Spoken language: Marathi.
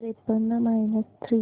त्रेपन्न मायनस थ्री